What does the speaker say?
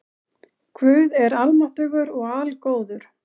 Guð er almáttugur og algóður.